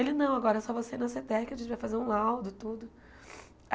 Ele, não, agora é só você ir na Seteca, a gente vai fazer um laudo, tudo.